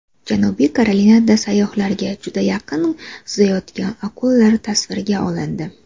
Janubiy Karolinada sayyohlarga juda yaqin suzayotgan akulalar tasvirga olindi .